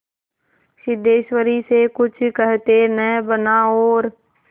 सिद्धेश्वरी से कुछ कहते न बना और